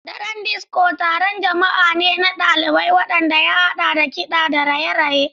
Daren Disko taron jama'a ne na ɗalibai wanda ya haɗa da kiɗa da raye-raye.